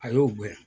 A y'o gɛn